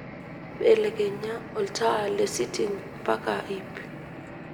belekenya olntaa lesiting mpaka iip